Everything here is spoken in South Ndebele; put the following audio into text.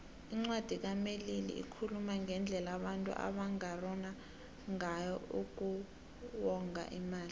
incwadi kamelili ikhuluma ngendlela abantu abangarhona ngayo uku wonga imali